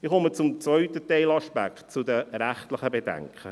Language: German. Ich komme zum zweiten Teilaspekt, zu den rechtlichen Bedenken.